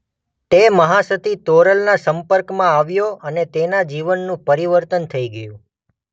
તે મહાસતી તોરલના સંપર્કમાં આવ્યો અને તેના જીવનનું પરિવર્તન થઇ ગયું.